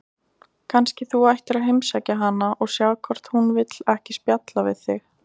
Kannski þú ættir að heimsækja hana og sjá hvort hún vill ekki spjalla við þig?